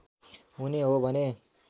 हुने हो भने